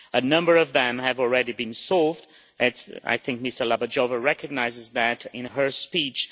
A number of them have already been solved and I think Ms Dlabajová recognised that in her speech.